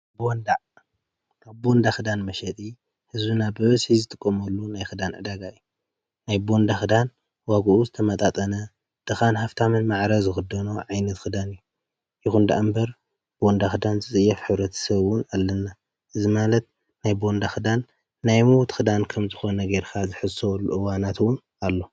ካብ ቦንዳ ኽዳን መሸጢ ሕዚ ናብ በበስይ ዝጥቆመሉ ናይ ኽዳን ዕዳጋ ናይ ቦንዳ ኽዳን ዋግኡ ዝተማጣጠነ ድኻን ሃፍታምን ማዕረ ዝኽዶኖ ዓይነት ኽዳን እዩ። ይኹንዳኣምበር ቦንዳ ኽዳን ዝፅየፍ ሕብረተሰብን ኣለና። እዚ ማለት ናይ ቦንዳ ኽዳን ናይ ሙው ት ኽዳን ከም ዝኾነ ጌርካ ዝሕሰበሉ እዋናት እውን ኣሎ።